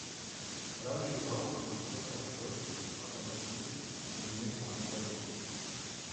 Prav žival bi lahko terapevtsko pomagala Iris in njeni samozavesti.